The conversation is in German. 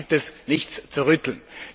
Daran gibt es nichts zu rütteln.